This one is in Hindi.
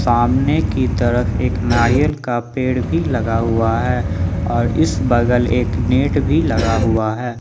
सामने की तरफ एक नारियल का पेड़ भी लगा हुआ है और इस बगल एक नेट भी लगा हुआ है।